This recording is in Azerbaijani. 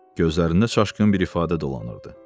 Gözlərində çaşqın bir ifadə dolanırdı.